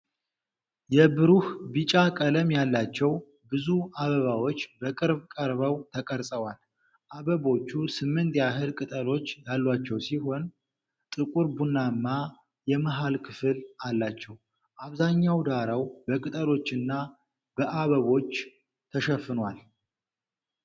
የብሩህ ቢጫ ቀለም ያላቸው ብዙ አበባዎች በቅርብ ቀርበው ተቀርፀዋል። አበቦቹ ስምንት ያህል ቅጠሎች ያሏቸው ሲሆን፣ ጥቁር ቡናማ የመሃል ክፍል አላቸው። አብዛኛው ዳራው በቅጠሎችና በአበባዎች ተሸፍኗል።